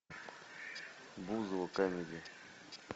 бузова камеди